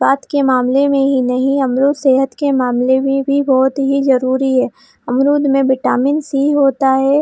स्वाद के मामले में ही नहीं हमलोग सेहत के मामले में भी बहुत ही जरूरी है अमरूद में विटामिन-सी होता है।